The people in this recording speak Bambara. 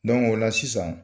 o la sisan